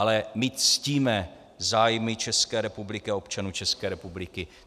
Ale my ctíme zájmy České republiky a občanů České republiky.